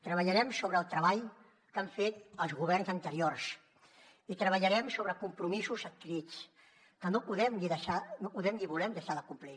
treballarem sobre el treball que han fet els governs anteriors i treballarem sobre compromisos adquirits que no podem ni volem deixar de complir